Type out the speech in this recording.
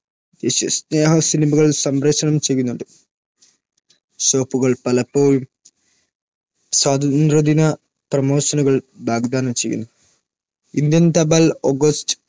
ദേശസ്നേഹ സിനിമകൾ സംപ്രേഷണം ചെയ്യുന്നുണ്ട്. shop കൾ പലപ്പോഴും സ്വാതന്ത്ര്യദിന പ്രമോഷനുകൾ വാഗ്ദാനം ചെയ്യുന്നു. ഇന്ത്യൻ തപാൽ ഓഗസ്റ്റ്